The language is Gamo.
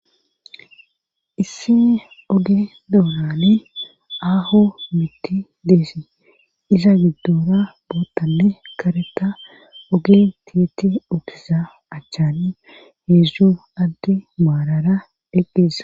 Haysan oge doorani aaho mitti deesii iza giddora bootanne kareta oge tiyetti okiza achchani heedzdzu atte maalara eqqesa